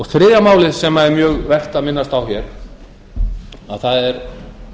þriðja málið sem er mjög vert að minnast á hér er